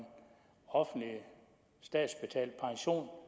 offentlig statsbetalt pension